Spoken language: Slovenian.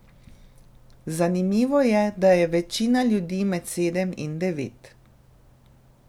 Zanimivo je, da je večina ljudi med sedem in devet.